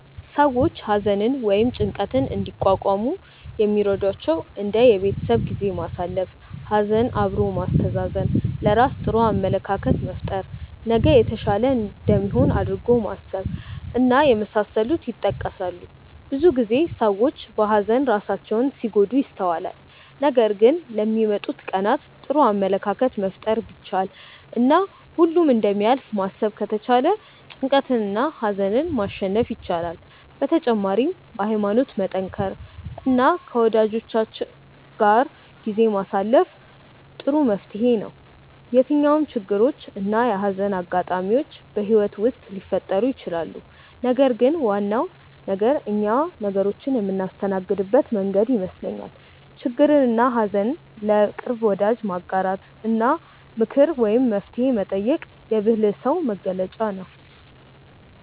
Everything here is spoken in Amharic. ሰዎች ሀዘንን ወይም ጭንቀትን እንዲቋቋሙ የሚረዷቸው እንደ የቤተሰብ ጊዜ ማሳለፍ፣ ሀዘን አብሮ ማስተዛዘን፣ ለራስ ጥሩ አመለካከት መፍጠር፣ ነገ የተሻለ እንደሚሆን አድርጎ ማሰብ እና የመሳሰሉት ይጠቀሳሉ። ብዙ ጊዜ ሰዎች በሀዘን ራሳቸውን ሲጎዱ ይስተዋላል ነገር ግን ለሚመጡት ቀናት ጥሩ አመለካከትን መፍጠር ቢቻል እና ሁሉም እንደሚያልፍ ማሰብ ከተቻለ ጭንቀትንና ሀዘንን ማሸነፍ ይቻላል። በተጨማሪም በሀይማኖት መጠንከር እና ከወጃጆቻችን ጋር ጊዜ ማሳለፍ ጥሩ መፍትሔ ነው። የትኛውም ችግሮች እና የሀዘን አጋጣሚዎች በህይወት ውስጥ ሊፈጠሩ ይችላሉ ነገር ግን ዋናው ነገር እኛ ነገሮችን የምናስተናግድበት መንገድ ይመስለኛል። ችግርንና ሀዘን ለቅርብ ወዳጅ ማጋራት እና ምክር ወይም መፍትሔ መጠየቅ የብልህ ሰው መገለጫ ነው።